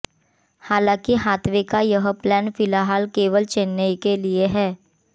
हालांकि हाथवे का यह प्लान फिलहाल केवल चेन्नई के लिए है